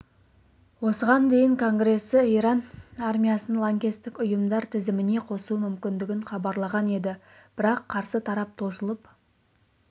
осыған дейін конгресі иран армиясын лаңкестік ұйымдар тізіміне қосу мүмкіндігін хабарлаған еді бірақ қарсы тарап тосылып